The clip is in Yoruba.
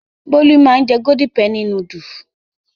Bólú máa ń jẹ Golden penny núdúlù.